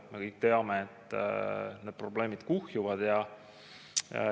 Me kõik teame, et need probleemid kuhjuvad.